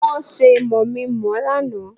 Wọ́n ṣe mọ̀mí-n-mọ̀-ọ́ lánàá